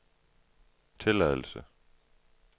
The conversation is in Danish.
tilladelse